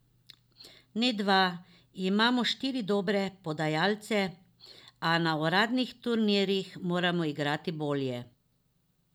Ne dva, imamo štiri dobre podajalce, a na uradnih turnirjih moramo igrati bolje.